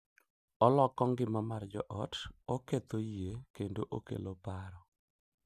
Oloko ngima mar joot, oketho yie, kendo okelo paro,